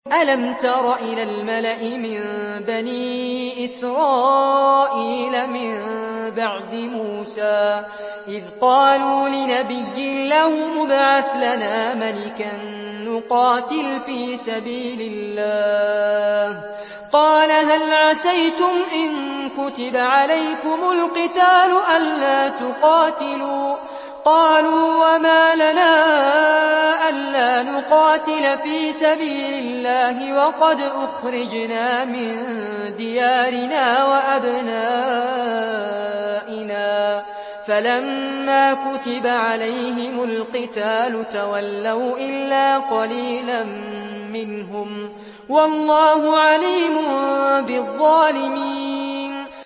أَلَمْ تَرَ إِلَى الْمَلَإِ مِن بَنِي إِسْرَائِيلَ مِن بَعْدِ مُوسَىٰ إِذْ قَالُوا لِنَبِيٍّ لَّهُمُ ابْعَثْ لَنَا مَلِكًا نُّقَاتِلْ فِي سَبِيلِ اللَّهِ ۖ قَالَ هَلْ عَسَيْتُمْ إِن كُتِبَ عَلَيْكُمُ الْقِتَالُ أَلَّا تُقَاتِلُوا ۖ قَالُوا وَمَا لَنَا أَلَّا نُقَاتِلَ فِي سَبِيلِ اللَّهِ وَقَدْ أُخْرِجْنَا مِن دِيَارِنَا وَأَبْنَائِنَا ۖ فَلَمَّا كُتِبَ عَلَيْهِمُ الْقِتَالُ تَوَلَّوْا إِلَّا قَلِيلًا مِّنْهُمْ ۗ وَاللَّهُ عَلِيمٌ بِالظَّالِمِينَ